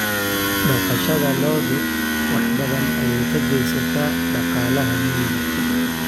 Dhaqashada lo'du wax badan ayay ka geysataa dhaqaalaha miyiga.